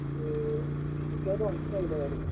വ്യക്തമായിട്ട് മനസ്സിലായില്ല പറഞ്ഞത്